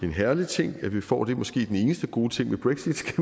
en herlig ting at vi får det måske er det den eneste gode ting ved brexit kan